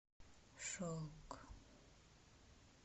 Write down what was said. шелк